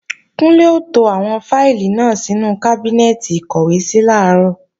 Kúnlé ó to àwọn fáìlì náà sínú kábínẹ́ẹ̀tì ìkọ́wèésí làárọ̀